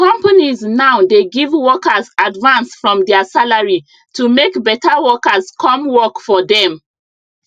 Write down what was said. companies now dey give workers advance from their salary to make better workers come work for them